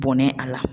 Bɔnɛ a la